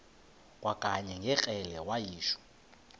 kwakanye ngekrele wayishu